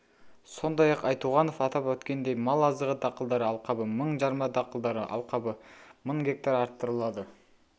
сондай-ақ айтуғанов атап өткендей мал азығы дақылдары алқабы мың жарма дақылдары алқабы мың гектар арттырылады